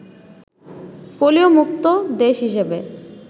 polio মুক্ত দেশ হিসেবে